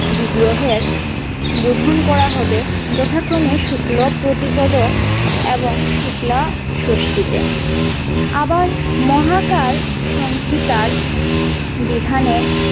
বিগ্রহের বোধন করা হবে যথাক্রমে শুক্লো প্রতিপদ এবং শুক্লা ষষ্টিতে আবার মহাকাল সংহিতার বিধানে।